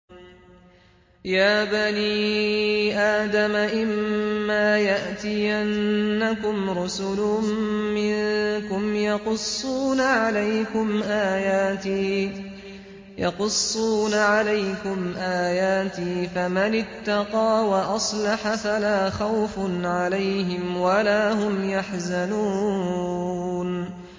يَا بَنِي آدَمَ إِمَّا يَأْتِيَنَّكُمْ رُسُلٌ مِّنكُمْ يَقُصُّونَ عَلَيْكُمْ آيَاتِي ۙ فَمَنِ اتَّقَىٰ وَأَصْلَحَ فَلَا خَوْفٌ عَلَيْهِمْ وَلَا هُمْ يَحْزَنُونَ